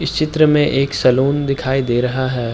इस चित्र में एक सालोन दिखाई दे रहा है।